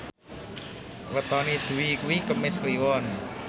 wetone Dwi kuwi Kemis Kliwon